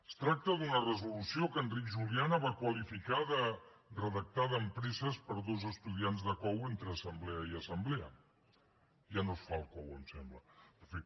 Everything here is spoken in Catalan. es tracta d’una resolució que enric juliana va qualificar de redactada amb presses per dos estudiants de cou entre assemblea i assemblea ja no es fa el cou em sembla en fi